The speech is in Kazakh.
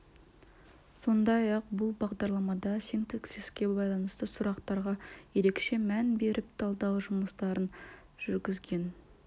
сондай-ақ бұл бағдарламада синтаксиске байланысты сұрақтарға ерекше мән беріп талдау жұмыстарын жүргізген